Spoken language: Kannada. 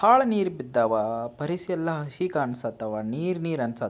ಹಾಳ್ ನೀರ್ ಬಿದ್ದವ ಪರಿಸೆಲ್ಲಾ ಹಸಿ ಕಾಣ್ಸತವ ನೀರ್ ನೀರ್ ಅನ್ಸತ್--